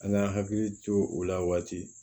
An k'an hakili to u la waati